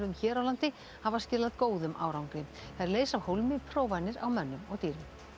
hér á landi hafa skilað góðum árangri þær leysa af hólmi prófanir á mönnum og dýrum